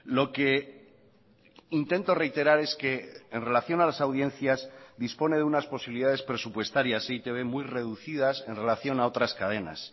lo que intento reiterar es que en relación a las audiencias dispone de unas posibilidades presupuestarias e i te be muy reducidas en relación a otras cadenas